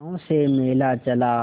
गांव से मेला चला